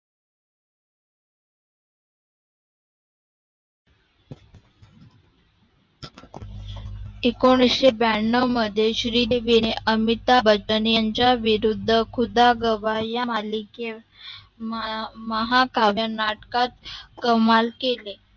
एकोणविशे ब्यानेऊ मध्ये श्रीदेविणे अमिताबचंन याच्या विरुद्ध खुदा गाव या मालिकेत महाकाव्य नाटकात कमाल केली